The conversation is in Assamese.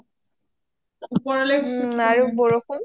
আৰু বৰষুণ.